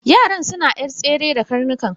Yaran suna yar tsere da karnukan.